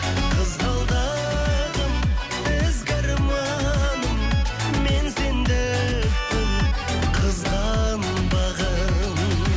қызғалдым ізгі арманым мен сендікпін қызғанбағын